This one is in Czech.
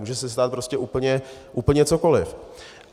Může se stát prostě úplně cokoliv.